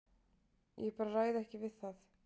Ég bara ræð ekki við það.